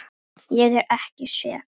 Ég er ekki sek.